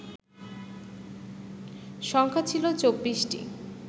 সংখ্যা ছিল ২৪টি